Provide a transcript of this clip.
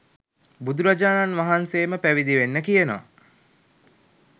බුදුරජාණන් වහන්සේම පැවිදි වෙන්න කියනවා.